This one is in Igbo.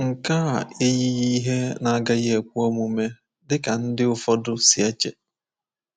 Nke a eyighị ihe na-agaghị ekwe omume dị ka ndị ụfọdụ si eche.